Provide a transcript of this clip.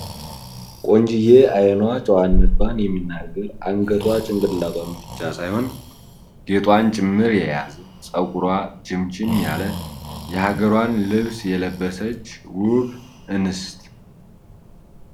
ቆንጂዬ አይኗ ጨዋነቷን የሚናገር አንገቷ ጭንቅላቷን ብቻ ሳይሆን ጌጧን ጭምር የያዘ ፤ ፀጉሯ ችምችም ያለ የሐገሯን ልብስ የለበሰች ውብ እንስት ።